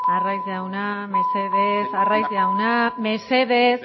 arraiz jauna mesedez arraiz jauna mesedez